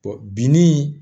binni